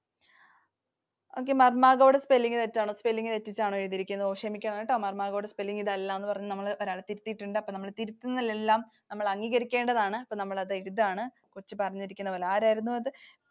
Okay. Marmagao ടെ spelling തെറ്റാണ്. Spelling തെറ്റിച്ചാണ് എഴുതിയിരിക്കുന്നത്. ഓ ക്ഷമിക്കണം. Marmagao ടെ spelling ഇത് അല്ലാന്നു ഒരാൾ തിരുത്തിയിട്ടുണ്ട്. അപ്പോൾ തിരുത്തലുകളെല്ലാം നമ്മൾ അംഗീകരിക്കേണ്ടതാണ്. നമ്മൾ അത് എഴുതാണ്. കൊച്ചു പറഞ്ഞിരിക്കുന്ന പോലെ. ആരായിരുന്നു അത്?